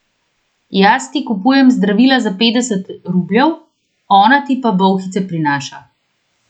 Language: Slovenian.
Jaz ti kupujem zdravila za petdeset rubljev, ona ti pa bolhice prinaša!